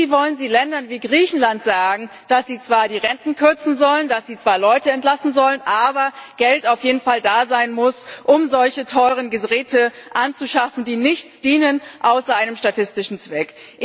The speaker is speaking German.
Und wie wollen Sie Ländern wie Griechenland sagen, dass sie zwar die Renten kürzen sollen, dass sie zwar Leute entlassen sollen, aber auf jeden Fall Geld da sein muss, um solche teuren Geräte anzuschaffen, die zu nichts dienen außer einem statistischen Zweck.